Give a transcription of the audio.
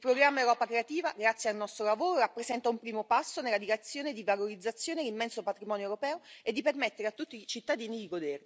Il programma Europa creativa, grazie al nostro lavoro, rappresenta un primo passo nella direzione di valorizzare l'immenso patrimonio europeo e di permettere a tutti i cittadini di